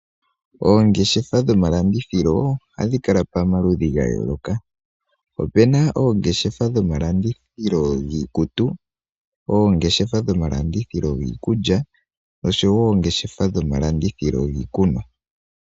Oongeshefa dhomalandithilo, ohadhi kala pamaludhi ga yooloka. Opuna oongeshefa dhomalandithilo dhiikutu, oongeshefa dhomalandithilo dhiikulya, oshowo oongeshefa dhomalandithilo dhiikunwa.